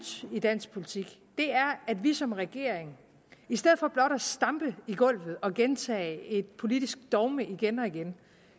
i dansk politik er at vi som regering i stedet for blot at stampe i gulvet og gentage et politisk dogme igen og igen